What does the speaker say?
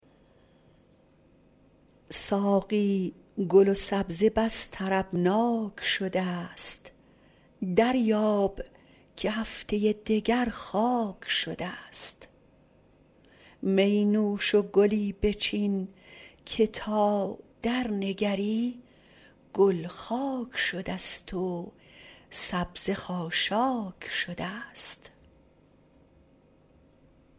ساقی گل و سبزه بس طربناک شده ست دریاب که هفته دگر خاک شده ست می نوش و گلی بچین که تا درنگری گل خاک شده ست و سبزه خاشاک شده ست